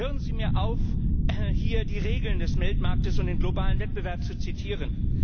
Hören Sie mir auf, hier die Regeln des Weltmarkts und den globalen Wettbewerb zu zitieren.